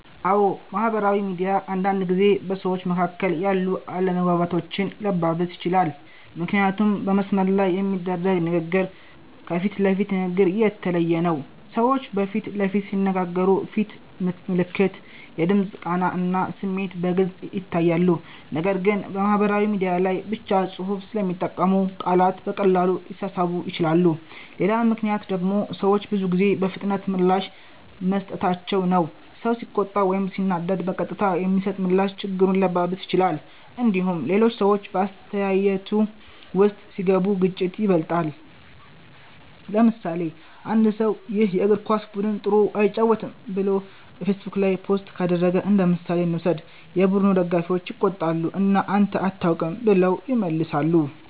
አዎ፣ ማህበራዊ ሚዲያ አንዳንድ ጊዜ በሰዎች መካከል ያሉ አለመግባባቶችን ሊያባብስ ይችላል። ምክንያቱም በመስመር ላይ የሚደረግ ንግግር ከፊት ለፊት ንግግር የተለየ ነው። ሰዎች በፊት ለፊት ሲነጋገሩ ፊት ምልክት፣ የድምፅ ቃና እና ስሜት በግልጽ ይታያሉ። ነገር ግን በማህበራዊ ሚዲያ ላይ ብቻ ጽሁፍ ስለሚጠቀሙ ቃላት በቀላሉ ሊሳሳቡ ይችላሉ። ሌላ ምክንያት ደግሞ ሰዎች ብዙ ጊዜ በፍጥነት ምላሽ መስጠታቸው ነው። ሰው ሲቆጣ ወይም ሲናደድ በቀጥታ የሚሰጥ ምላሽ ችግሩን ሊያባብስ ይችላል። እንዲሁም ሌሎች ሰዎች በአስተያየቱ ውስጥ ሲገቡ ግጭቱ ይበልጣል። ለምሳሌ፣ አንድ ሰው “ይህ የእግር ኳስ ቡድን ጥሩ አይጫወትም” ብሎ በፌስቡክ ላይ ፖስት ካደረገ እንደምሳሌ እንውሰድ። የቡድኑ ደጋፊዎች ይቆጣሉ እና “አንተ አታውቅም” ብለው ይመልሳሉ።